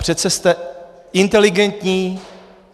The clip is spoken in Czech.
Přece jste inteligentní.